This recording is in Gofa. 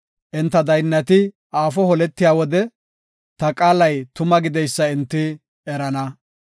Enta daynnati aafo holetiya wode, ta qaalay tuma gideysa enti erana.